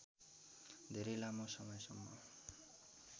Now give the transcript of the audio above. धेरै लामो समयसम्म